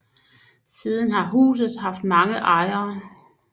Siden har huset haft mange ejere